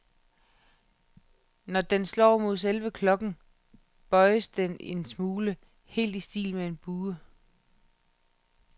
Når den slår mod selve klokken, bøjes den en smule, helt i stil med en bue.